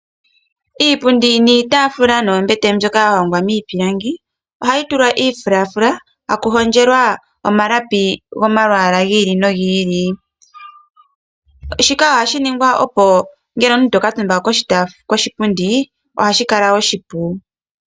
Iipindi, iitaafula noombete mbyoka yalongwa miipilangi, ohayi tulwa iifulafula etaku hondjelwa omalapi gomalwaala giili nogili . Shika ohashi ningi ngele omuntu to kutumba koshipundi ohashi kala oshipu.